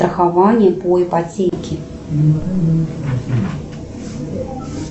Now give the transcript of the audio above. страхование по ипотеке